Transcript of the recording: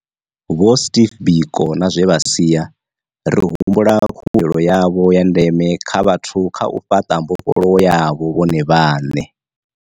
Vho Steve Biko na zwe vha sia, ri humbula khuwelelo yavho ya ndeme kha vhathu kha u fhaṱa mbofholowo yavho vhone vhaṋe.